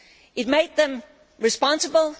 It made them responsible